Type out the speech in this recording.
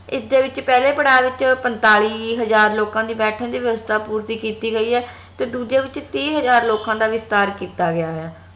ਇਸ ਦੇ ਵਿਚ ਪਹਲੇ ਪੜਾਵ ਦੇ ਵਿਚ ਪੰਤਾਲੀ ਹਜਾਰ ਲੋਕਾਂ ਦੇ ਬੈਠਣ ਦੀ ਵਯਾਵਸ੍ਥਾ ਪੂਰਤੀ ਕੀਤੀ ਗਯੀ ਏ ਤੇ ਦੂਜੇ ਵਿਚ ਤੀਹ ਹਜਾਰ ਲੋਕਾਂ ਦਾ ਵਿਸਤਾਰ ਕੀਤਾ ਗਯਾ ਆ